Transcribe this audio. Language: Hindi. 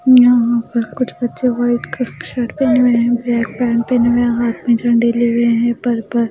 यहाँ पर कुछ बच्चे वाइट कलर की शर्ट पहने हुए है ब्लैक पेंट पहने हुए है हाथ में झण्डे लिए हुए हैं पर्पल --